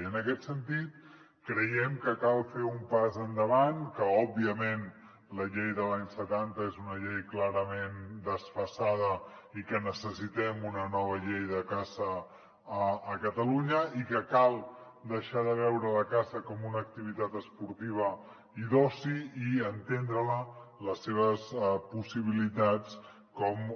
i en aquest sentit creiem que cal fer un pas endavant que òbviament la llei de l’any setanta és una llei clarament desfasada i que necessitem una nova llei de caça a ca·talunya i que cal deixar de veure la caça com una activitat esportiva i d’oci i enten·dre·la les seves possibilitats com